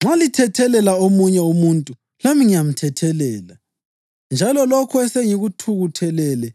Nxa lithethelela omunye umuntu, lami ngiyamthethelela. Njalo lokho esengikuthethelele,